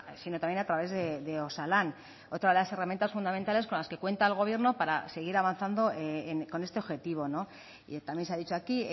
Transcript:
sino también a través de osalan otra de las herramientas fundamentales con las que cuenta el gobierno para seguir avanzando con este objetivo y también se ha dicho aquí